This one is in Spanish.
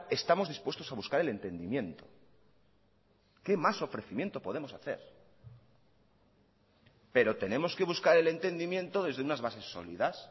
estamos dispuestos a buscar el entendimiento qué más ofrecimiento podemos hacer pero tenemos que buscar el entendimiento desde unas bases sólidas